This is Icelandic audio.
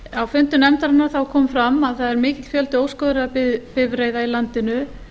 á fundum nefndarinnar kom fram að það er mikill fjöldi óskoðaðra bifreiða í landinu